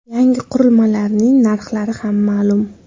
Yangi qurilmalarning narxlari ham ma’lum .